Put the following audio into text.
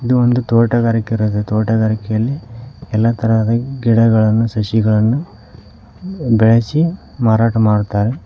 ಇದು ಒಂದು ತೋಟಗಾರಿಕೆ ಇರದ ತೋಟಗಾರಿಕೆಯಲ್ಲಿ ಎಲ್ಲಾ ತರಹದ ಗಿಡಗಳನ್ನು ಸಸಿಗಳನ್ನು ಬೆಳೆಸಿ ಮಾರಾಟ ಮಾಡುತ್ತಾರೆ.